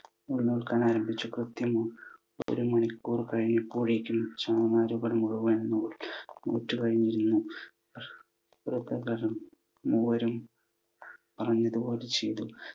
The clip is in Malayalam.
നൂൽ നൂൽക്കാനായി ആരംഭിച്ചു, കൃത്യം ഒരു മണിക്കൂർ കഴിയുമ്പോഴേക്കും ചണനാരുകൾ മുഴുവൻ നൂറ്റ് കഴിഞ്ഞിരുന്നു. വൃദ്ധകൾ മൂവരും പറഞ്ഞത് പോലെ ചെയ്തു.